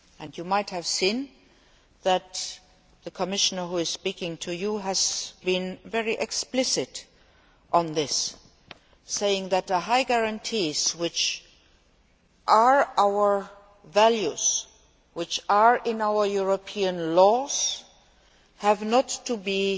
You might have seen that the Commissioner who is speaking to you has been very explicit on this saying that the high guarantees which are our values, which are in our European laws, must not be